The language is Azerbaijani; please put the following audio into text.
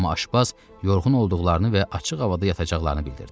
Amma aşbaz yorğun olduqlarını və açıq havada yatacaqlarını bildirdi.